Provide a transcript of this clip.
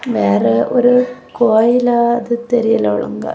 வேற ஒரு கோயிலா அது தெரியல ஒழுங்கா.